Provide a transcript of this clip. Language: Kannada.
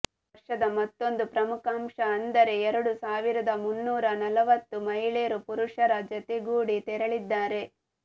ಈ ವರ್ಷದ ಮತ್ತೊಂದು ಪ್ರಮುಖಾಂಶ ಅಂದರೆ ಎರಡು ಸಾವಿರದ ಮುನ್ನೂರಾ ನಲವತ್ತು ಮಹಿಳೆಯರು ಪುರುಷರ ಜತೆಗೂಡಿ ತೆರಳಲಿದ್ದಾರೆ